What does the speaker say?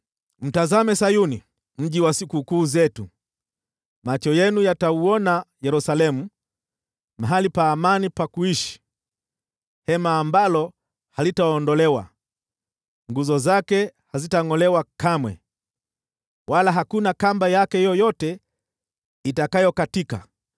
Mtazame Sayuni, mji wa sikukuu zetu; macho yenu yatauona Yerusalemu, mahali pa amani pa kuishi, hema ambalo halitaondolewa, nguzo zake hazitangʼolewa kamwe, wala hakuna kamba yake yoyote itakayokatika.